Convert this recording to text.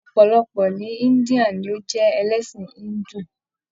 Ọpọlọpọ ni India ni o jẹ ẹlẹsin Hindu.